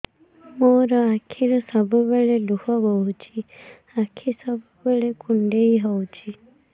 ମୋର ଆଖିରୁ ସବୁବେଳେ ଲୁହ ବୋହୁଛି ଆଖି ସବୁବେଳେ କୁଣ୍ଡେଇ ହଉଚି